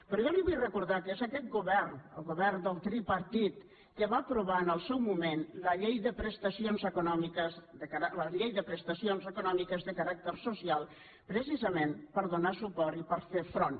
però jo li vull recordar que és aquest govern el govern del tripartit el que va aprovar en el seu moment la llei de prestacions econòmiques de caràcter social precisament per donar hi suport i per fer hi front